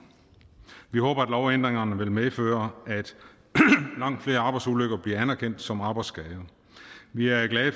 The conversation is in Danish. vi håber at lovændringerne vil medføre at langt flere arbejdsulykker bliver anerkendt som arbejdsskader vi er glade